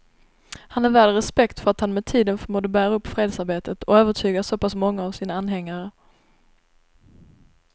Han är värd respekt för att han med tiden förmådde bära upp fredsarbetet och övertyga så pass många av sina anhängare.